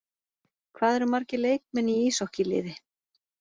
Hvað eru margir leikmenn í íshokkí-liði?